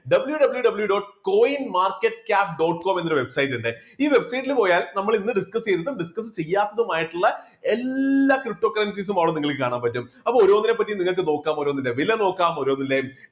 www. coinmarketcap. com എന്നൊരു website ഉണ്ട്. ഈ website ല് പോയാൽ നമ്മൾ ഇന്ന് discuss ചെയ്തതും discuss ചെയ്യാത്തതും മായിട്ടുള്ള എല്ലാ ptocurrencies ഉം അവിടെ നിങ്ങൾക്ക് കാണാൻ പറ്റും. അപ്പോ ഓരോന്നിനെപ്പറ്റി നിങ്ങൾക്ക് നോക്കാം ഓരോന്നിന്റെ വില നോക്കാം ഓരോന്നിന്റെ